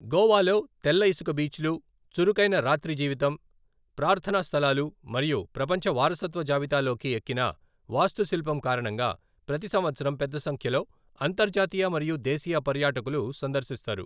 గోవాలో తెల్ల ఇసుక బీచ్లు, చురుకైన రాత్రి జీవితం, ప్రార్థనా స్థలాలు మరియు ప్రపంచ వారసత్వ జాబితాలోకి ఎక్కిన వాస్తుశిల్పం కారణంగా ప్రతి సంవత్సరం పెద్ద సంఖ్యలో అంతర్జాతీయ మరియు దేశీయ పర్యాటకులు సందర్శిస్తారు.